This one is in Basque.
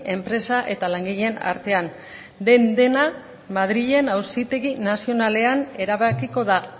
enpresa eta langileen artean den dena madrilen auzitegi nazionalean erabakiko da